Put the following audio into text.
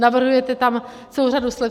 Navrhujete tam celou řadu slev.